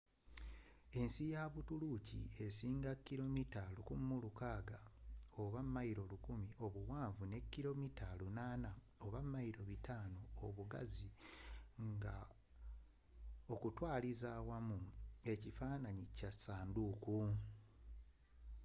ensi ya buturuuki esinga kilomita 1,600 1,000 mi obuwanvu ne kilomita 800 500 mi obugazi nga okutwaliza awamu ekifaananyi kya ssanduuku